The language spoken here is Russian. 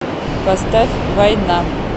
поставь война